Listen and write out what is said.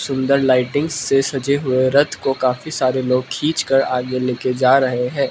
सुंदर लाइटिंग्स से सजे हुए रथ को काफी सारे लोग खींच कर आगे लेके जा रहे है।